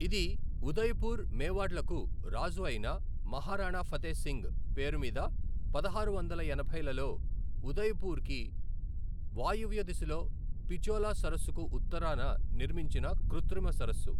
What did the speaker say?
ఇది ఉదయపూర్, మేవాడ్లకు రాజు అయిన మహారాణా ఫతే సింగ్ పేరు మీద పదహారు వందల ఎనభైలలో ఉదయ్పూర్కి వాయువ్య దిశలో, పిచోలా సరస్సుకు ఉత్తరాన నిర్మించిన కృత్రిమ సరస్సు.